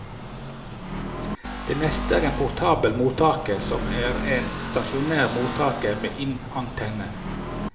Det neste er en portabel mottaker, som er en stasjonær mottaker med inneantenne.